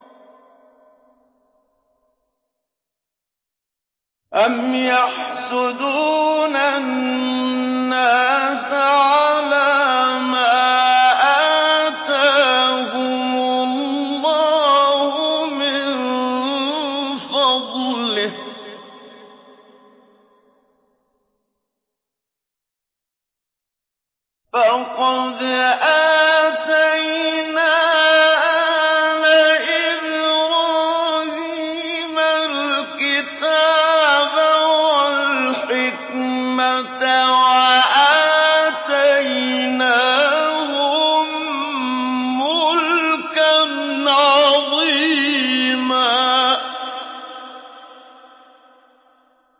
أَمْ يَحْسُدُونَ النَّاسَ عَلَىٰ مَا آتَاهُمُ اللَّهُ مِن فَضْلِهِ ۖ فَقَدْ آتَيْنَا آلَ إِبْرَاهِيمَ الْكِتَابَ وَالْحِكْمَةَ وَآتَيْنَاهُم مُّلْكًا عَظِيمًا